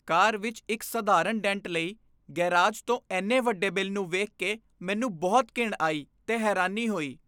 ਕਾਰ ਵਿੱਚ ਇੱਕ ਸਧਾਰਨ ਡੈਂਟ ਲਈ ਗ਼ੈਰਾਜ ਤੋਂ ਇੰਨੇ ਵੱਡੇ ਬਿੱਲ ਨੂੰ ਵੇਖ ਕੇ ਮੈਨੂੰ ਬਹੁਤ ਘਿਣ ਆਈ ਤੇ ਹੈਰਾਨੀ ਹੋਈ I